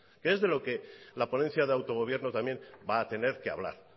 que es de lo que la ponencia de autogobierno también va a tener que hablar